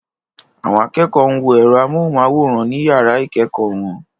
Àwọn akẹ́kọ̀ọ́ ń wo ẹ̀rọ amóhùnmáwòrán ní yàrá ìkẹ́kọ̀ọ́ wọn.